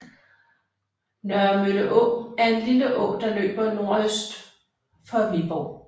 Nørremølle Å er en lille å der løber nordøst for Viborg